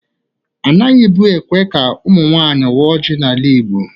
Anaghị bu ékwè ka ụmụ nwanyị waa ọji n'ala Igbo.